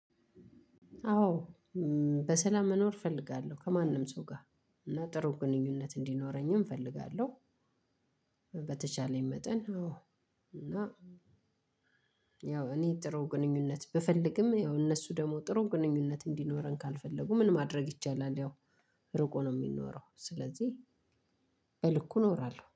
አዎ በሰላም መኖር እፈልጋለሁ ከማንም ሰው ጋር እና ጥሩ ግንኙነት እንዲኖረኝም እፈልጋለሁ። በተቻለኝ መጠን አዎ እና። ያው እኔ ጥሩ ግንኙነት ብፈልግም ያው እነሱ ደግሞ ጥሩ ግንኙነት እንዲኖረን ካልፈለጉ ምን ማድረግ ይቻላል? ያው ርቆ ነው የሚኖረው። ስለዚህ በልኩ እኖራለሁ